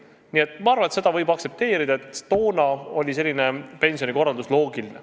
Nii et ma arvan, et seda võib aktsepteerida, toona oli selline pensionikorraldus loogiline.